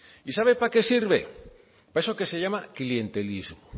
y sabe para qué sirve para eso que se llama clientelismo